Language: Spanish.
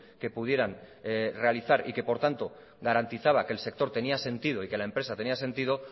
que pudieran realizar y que por tanto garantizaba que el sector tenía sentido y que la empresa tenía sentido